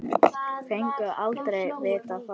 Fengum aldrei að vita það.